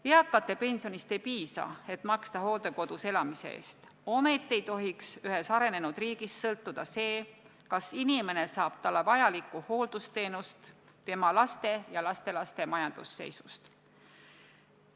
Eakate pensionist ei piisa, et maksta hooldekodus elamise eest, ometi ei tohiks ühes arenenud riigis sõltuda see, kas inimene saab talle vajalikku hooldusteenust, tema laste ja lastelaste majandusseisust.